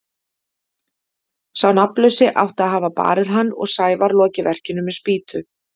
Sá nafnlausi átti að hafa barið hann og Sævar lokið verkinu með spýtu.